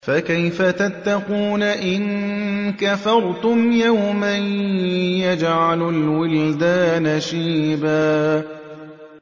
فَكَيْفَ تَتَّقُونَ إِن كَفَرْتُمْ يَوْمًا يَجْعَلُ الْوِلْدَانَ شِيبًا